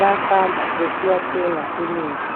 bayahamba besiyathenga imithi